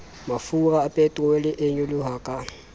mafura peterole e nyoloha ka